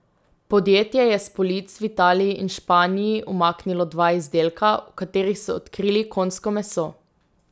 Podjetje je s polic v Italiji in Španiji umaknilo dva izdelka, v katerih so odkrili konjsko meso.